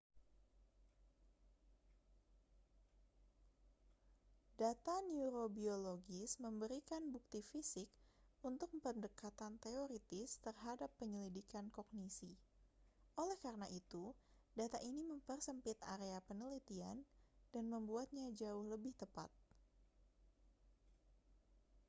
data neurobiologis memberikan bukti fisik untuk pendekatan teoritis terhadap penyelidikan kognisi oleh karena itu data ini mempersempit area penelitian dan membuatnya jauh lebih tepat